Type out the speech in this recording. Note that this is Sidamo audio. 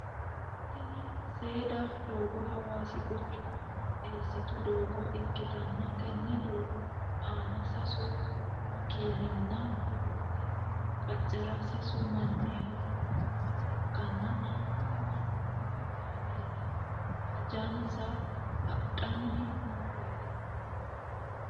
Tinni seeda doogo hawaasi quchuma eesitu doogo ikitanna tenne doogo aanna sasu makeenninna doogote qacera sasu manni haranni nooha ikanna kunni manninna kaameeli hajansa hadhanni nooreeti?